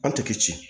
Aw tɛ kɛ ci